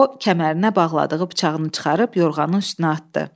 O, kəmərinə bağladığı bıçağını çıxarıb yorğanın üstünə atdı.